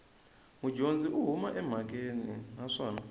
mudyondzi u huma emhakeni naswona